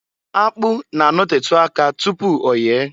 Akpụ na- anotetu aka tupu oye.